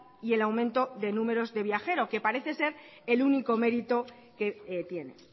y el aumento del números de viajeros que parece ser el único mérito que tiene